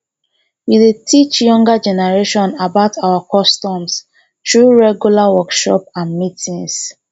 we dey teach younger generation about our customs through regular workshops and meetings